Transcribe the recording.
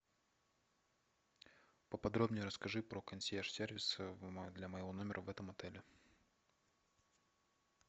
поподробней расскажи про консьерж сервис для моего номера в этом отеле